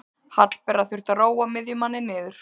Hallbera þurfti að róa miðjumanninn niður.